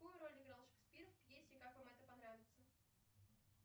какую роль играл шекспир в пьесе как вам это понравится